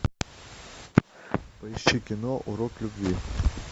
поищи кино урок любви